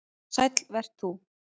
Sæll vert þú